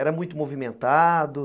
Era muito movimentado?